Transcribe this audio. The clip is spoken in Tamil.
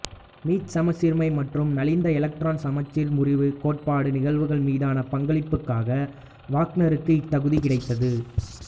மீச்சமசீர்மை மற்றும் நலிந்தஎலக்ட்ரான் சமச்சீர் முறிவு கோட்பாட்டு நிகழ்வுகள் மீதான பங்களிப்புகளுக்காக வாக்னருக்கு இத்தகுதி கிடைத்தது